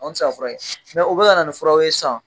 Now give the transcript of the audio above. An mi se ka fura kɛ, u be ka na nin fura ye san